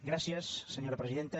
gràcies senyora presidenta